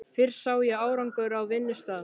Fyrst sá ég árangur á vinnustað.